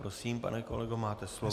Prosím, pane kolego, máte slovo.